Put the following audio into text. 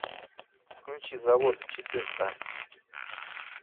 включи завод четырка